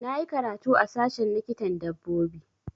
Na yi karatu a sashen likitan dabbobi